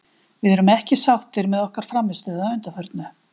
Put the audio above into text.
Við erum ekki sáttir með okkar frammistöðu að undanförnu.